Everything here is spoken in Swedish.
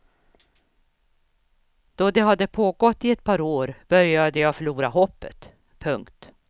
Då det hade pågått i ett par år började jag förlora hoppet. punkt